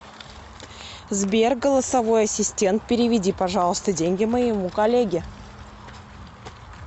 сбер голосовой ассистент переведи пожалуйста деньги моему коллеге